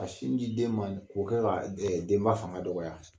Ka sin ji den ma k'o kɛ ka denba fanga dɔgɔya